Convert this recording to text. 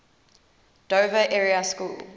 dover area school